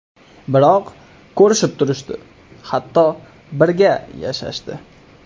Biroq ko‘rishib turishdi, hatto birga yashashdi.